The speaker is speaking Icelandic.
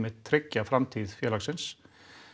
tryggja framtíð félagsins